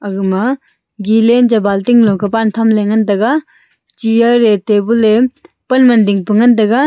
agma gilen cha balting lung kah kuban chamle ngan taga chair ye tabun ye panwan dingpan ngan taga.